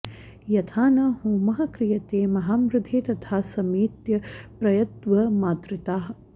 यथा न होमः क्रियते महामृधे तथा समेत्य प्रयतध्वमादृताः